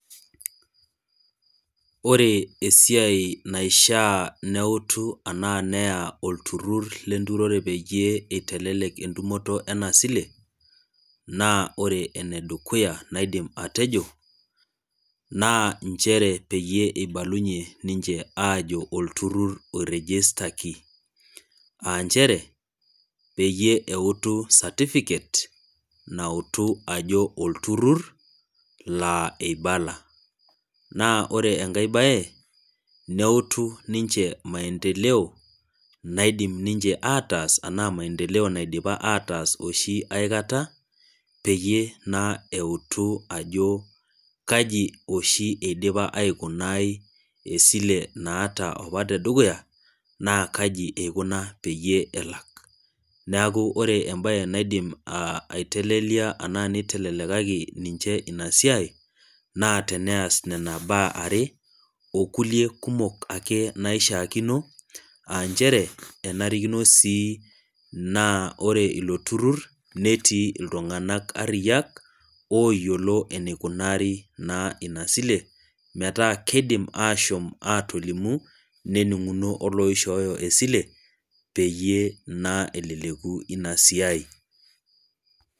Ore esiai naishaa neutu anaa neyaa olturur le enturore peyie eitelelek entumoto ena siile, naa ore ene dukuya naidim atejo naa nchere peyie eibalunye ninche aajo olturur oirejistaki, aa nchere peyie eutu certificate nautu ajo olturur, laa eibala. Naa ore enkai bae, neutu ninche maindeleo, naidim ninche ataas, anaa maindeleo naidipa ataas oshi aikata, peyie naa eutu ajo kaji oshi eidip aikunaai esile oshi naidipaawaita opa te dukuya, naa kaji eikuna peyie elak. Neaku ore embae naidim aitelelia anaa naidim neitelelekaki ninche ina siai naa teneas nena baa are, o kulie kumok ake naishaakino, aa nchere enarikino sii naa ore ilo turur naa etii iltung'ana ariyak, oyiolo naa eneikunari naa ina sile, metaa keidim asho aatoolimu, nening'uno oloishooyo esile peyie naa eleleku ina siai.